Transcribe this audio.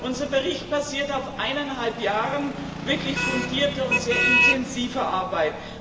Unser Bericht basiert auf eineinhalb Jahren wirklich fundierter und sehr intensiver Arbeit.